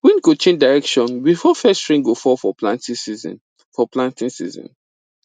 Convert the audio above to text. wind go change direction before first rain go fall for planting season for planting season